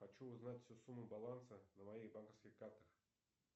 хочу узнать всю сумму баланса на моих банковских картах